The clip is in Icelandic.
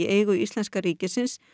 eigu íslenska ríkisins